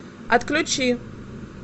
отключи